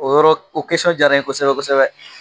O yɔrɔ o diyara n ye kosɛbɛ kosɛbɛ